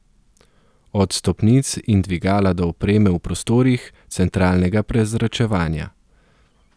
Od stopnic in dvigala do opreme v prostorih, centralnega prezračevanja ...